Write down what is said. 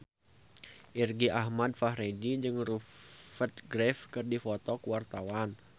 Irgi Ahmad Fahrezi jeung Rupert Graves keur dipoto ku wartawan